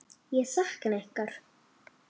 Ég sakna ykkar.